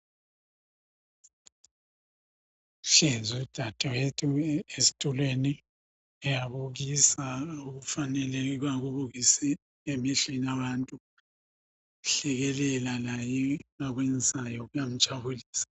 Uhlezi udadewethu, esitulweni..Uyabukisa. Okufaneleyo, akubukise emission abantu. Ehlekelela, laye, akwenzayo, kuyamjabulisa.